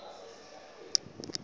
koko ifane nje